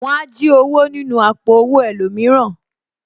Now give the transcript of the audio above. Wọn á jí owó nínú àpò owó ẹlòmíràn